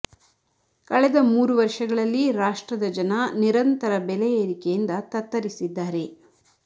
ಕಳೆದ ಮೂರು ವರ್ಷಗಳಲ್ಲಿ ರಾಷ್ಟ್ತ್ರದ ಜನ ನಿರಂತರ ಬೆಲೆ ಏರಿಕೆಯಿಂದ ತತ್ತರಿಸಿದ್ದಾರೆ